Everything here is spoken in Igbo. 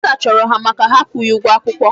Bursar chụrụ ha maka ha akwụghị ụgwọ akwụkwọ.